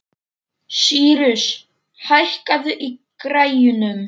Sýrus, hækkaðu í græjunum.